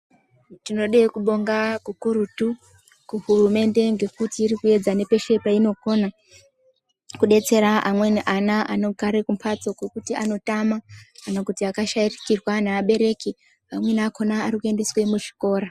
Tinode kubonga kukurutu kuhurumende ngekuti irikuyedza nepeshe payinokona kudetsera amweni ana anogare mbatso dzekuti anotama ngekuti akashayikirwa nevabereki, amweni akona arikuendeswa muzvikora.